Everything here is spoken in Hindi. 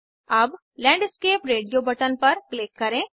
अब लैंडस्केप रेडियो बटन पर क्लिक करें